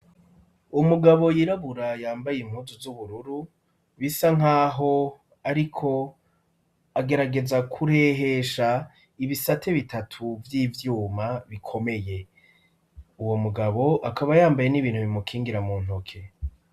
Umugabo yirabura yambaye impuzu z'ubururu bisa nkaho ariko agerageza kurehesha ibisate bitatu vy'ivyuma bikomeye uwo mugabo akaba yambaye n'ibintu bimukingira mu ntoke.